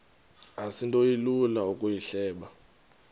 asinto ilula ukuyihleba